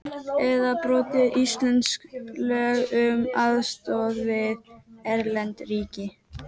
Eða brotið íslensk lög um aðstoð við erlend ríki.